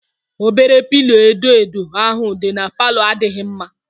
Obere pilo edo edo ahụ dị n'palo adịghị mma